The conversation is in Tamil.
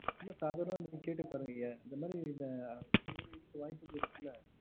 சும்மா சாதனமா கேட்டு பாருங்க இந்த மாறி இந்த சரி சொல்ல வாய்ப்புக்கள் இருக்குல